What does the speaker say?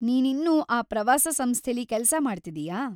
ನೀನಿನ್ನೂ ಆ ಪ್ರವಾಸ ಸಂಸ್ಥೆಲಿ ಕೆಲ್ಸ ಮಾಡ್ತಿದೀಯ?